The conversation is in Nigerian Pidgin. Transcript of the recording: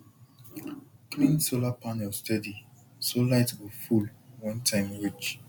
clean solar panel steady so light go full when time reach